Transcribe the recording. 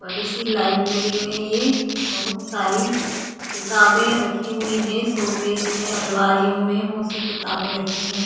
बड़ी सी लाइब्रेरी में ये बहुत सारी किताबें रखी हुई है शोकेस में अलमारियों में बहुत सी किताबे रखी है।